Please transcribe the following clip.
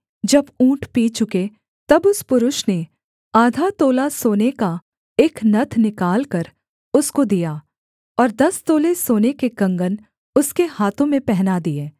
जब ऊँट पी चुके तब उस पुरुष ने आधा तोला सोने का एक नत्थ निकालकर उसको दिया और दस तोले सोने के कंगन उसके हाथों में पहना दिए